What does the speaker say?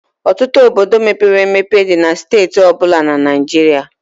Ọtụtụ Obodo mepere emepe dị na steeti ọ bụla na Naịjirịa.